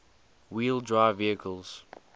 wheel drive vehicles